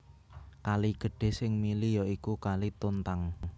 Kali gedhé sing mili ya iku Kali Tuntang